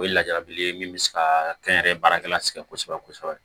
O ye lajarabi ye min bɛ se ka kɛ n yɛrɛ baarakɛla sigi kosɛbɛ kosɛbɛ